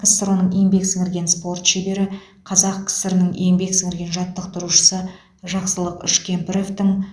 ксро ның еңбек сіңірген спорт шебері қазақ кср ның еңбек сіңірген жаттықтырушысы жақсылық үшкемпіровтің